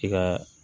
I ka